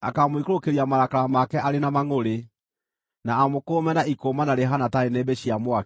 akaamũikũrũkĩria marakara make arĩ na mangʼũrĩ, na amũkũũme na ikũũmana rĩhaana ta nĩnĩmbĩ cia mwaki.